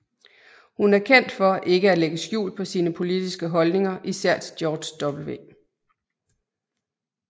Hun er kendt for ikke at lægge skjul på sine politiske holdninger især til George W